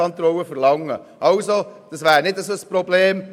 Es wäre also kein grosses Problem.